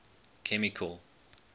chemical